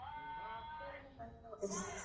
Þó má benda á eitt.